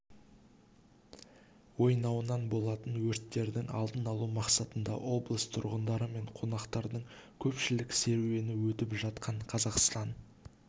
ойнауынан болатын өрттердің алдын алу мақсатында облыс тұрғындары мен қонақтарының көпшілік серуені өтіп жатқан қазақстан